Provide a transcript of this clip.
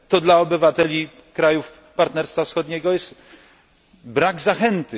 To dla obywateli krajów Partnerstwa Wschodniego jest brak zachęty.